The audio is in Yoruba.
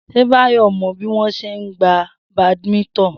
S̩e Báyò̩ mo̩ bí wó̩n s̩e ń gbá badminton?